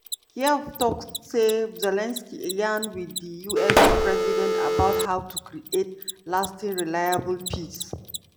kyiv tok say zelensky yarn wit di us president about how to create "lasting reliable peace".